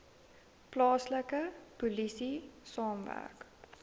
plaaslike polisie saamwerk